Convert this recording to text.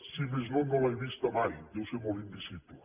si més no no l’he vista mai deu ser molt invisible